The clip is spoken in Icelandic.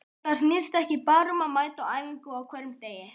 Þetta snýst ekki bara um að mæta á æfingu á hverjum degi.